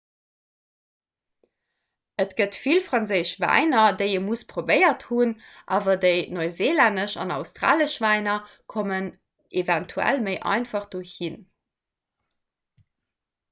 et gëtt vill franséisch wäiner déi ee muss probéiert hunn awer dei neuseelännesch an australesch wäiner kommen eventuell méi einfach do hinn